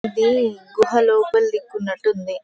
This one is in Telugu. అది గుహ లోపల దిక్కు ఉన్నట్టుంది.